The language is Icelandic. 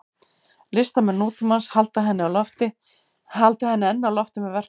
Listamenn nútímans halda henni enn á lofti í verkum sínum.